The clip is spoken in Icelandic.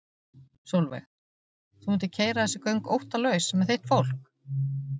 Sólveig: Þú mundir keyra þessi göng óttalaus með þitt fólk?